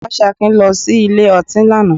Ọgbẹ́ni Fásakin lọ sí ilé ọtí lánàá